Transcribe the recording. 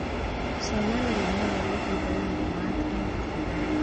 Soman ele nyolu ibounde maat en keserait.